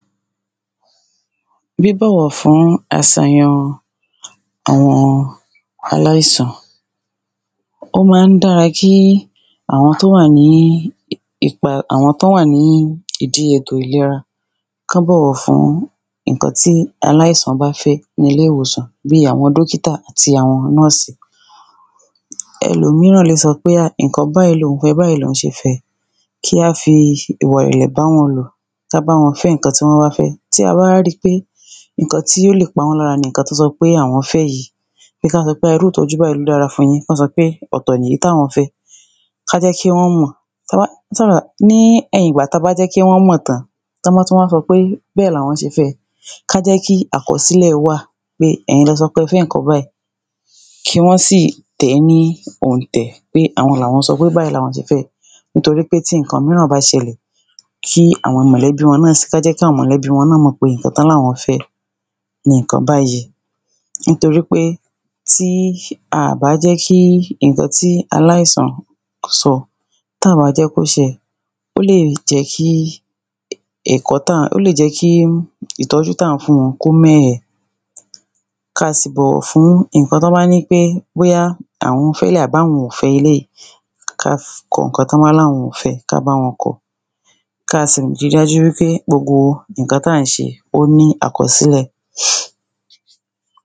Bí bọ̀wọ̀ fún asàyàn àwọn aláìsàn ó ma ń dára kí àwọn tọ́ wà ní ìdí etò ìlera kọ́ bọ̀wọ̀ fún ìnkan tí aláìsàn bá fẹ́ ní ilé ìwòsan bí àwọn dókítà àti àwọn nọ́ọ̀sì ẹlòmíràn lè sọ pè ha ìnkan báyí loun fẹ báyí loun ṣe fẹ kíá fi ìwà ìrẹ̀lẹ̀ báwọn lò ka bá wọn fẹ́ ìnkan tí wọ́n bá ń fẹ́ tí a bá wá ri pé ìnkan tí ó lè pawọ́n lára ni ìnkan tí àwọn fẹ́ yí pe ká sọ pé irú ìtọ́jú báyí ló dára fún yín kọ́ sọ pe ọ̀tọ̀ lèyí táwọn fẹ ká jẹ́ kí wọn mọ̀ ní ẹ̀yìn gbà ta bá jẹ́ kí wọ́n mọ̀ tán tọ́ bá tú wa sọ pé bẹ́ẹ̀ làwọn ṣe fẹ ká jẹ́ kí àkọsílẹ̀ wà pé ẹ̀yin lẹ sọ pé ẹ fẹ́ ǹkan báyí kí wọ́n sì tẹ̀ ní òǹtẹ̀ pé àwọn làwọn sọ pé báyí làwọn ṣe fẹ nítorí pé tí ìnkan míràn bá ṣẹlẹ̀ tó jẹ́ kí àwọn mọ̀lẹ́bí mọ̀ pé ǹkan tọ́ làwọn fẹ ni ìkan báyí nítorí pé tí a bá jẹ́ kí ìnkan ti aláìsàn sọ tá à bá jẹ́ kó ṣẹ ó lè jẹ́ kí ìtọ́jú tá à ń fún wọn kó mẹ́ hẹ ka sì bọ̀wọ̀ fún ìnkan tọ́ bá ní pé bóyá àwọn feléyí àbí àwọn ò fẹ́ eléyí ká kọ ǹkan tọ́ bá làwọn ò fẹ́ ká báwọn kọ̀ ka sì ri dájú wí ṕé gbogbo ìnkan tá à ń ṣe ó sí àkọsílẹ̀